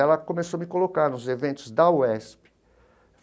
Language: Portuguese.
Ela começou a me colocar nos eventos da UESP.